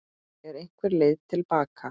Er einhver leið til baka?